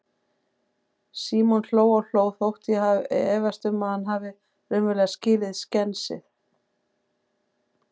Símon hló og hló, þótt ég efist um að hann hafi raunverulega skilið skensið.